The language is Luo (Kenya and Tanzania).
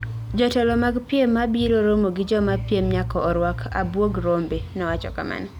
"Jotelo mag piem mabiro romo gi joma piem nyaka orwak abwog rombe,” nowacho kamano.